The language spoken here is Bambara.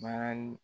Baara